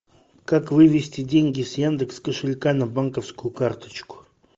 как вывести деньги с яндекс кошелька на банковскую карточку